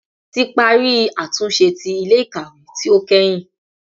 Ti pari atunṣe ti ile-ikawe ti o kẹhin